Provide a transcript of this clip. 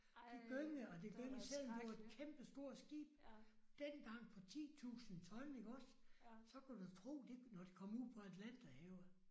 Det gyngede og det gyngede selvom det var et kæmpestort skib dengang på 10000 ton iggås så kan du tro det når det kom ud på Atlanterhavet